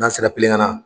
N'an sera kilen ka na